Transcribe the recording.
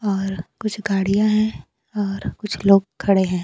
और कुछ गाड़ियां हैं और कुछ लोग खड़े हैं।